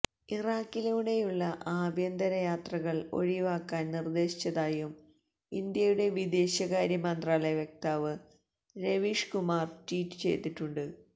ഇറാഖിലൂടെയുള്ള ആഭ്യന്തരയാത്രകള് ഒഴിവാക്കാന് നിര്ദേശിച്ചതായും ഇന്ത്യയുടെ വിദേശകാര്യ മന്ത്രാലയ വക്താവ് രവീഷ് കുമാര് ട്വീറ്റ് ചെയ്തിട്ടുണ്ട്